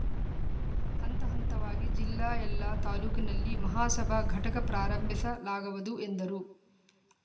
ಹಂತ ಹಂತವಾಗಿ ಜಿಲ್ಲೆ ಎಲ್ಲಾ ತಾಲೂಕಿನಲ್ಲಿ ಮಹಾಸಭಾ ಘಟಕ ಪ್ರಾರಂಭಿಸಲಾಗವದು ಎಂದರು